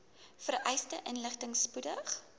vereiste inligting spoedig